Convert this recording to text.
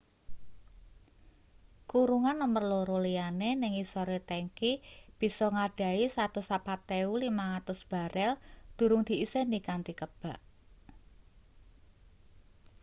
kurungan nomer loro liyane ning ngisore tengki bisa ngadhahi 104,500 barel durung diiseni kanthi kebak